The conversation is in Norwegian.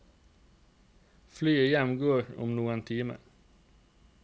Flyet hjem går om noen timer.